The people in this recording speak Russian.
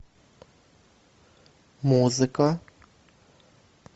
музыка